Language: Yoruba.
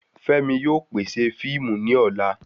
Femi ni yóò pèsè fiimu ni ola